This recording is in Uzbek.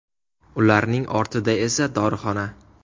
Ularning ortida esa dorixona.